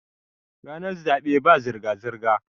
ranar zaɓe ba a zirga-zirga